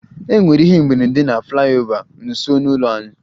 E nwere ihe mberede na flyover nso n'ụlọ anyị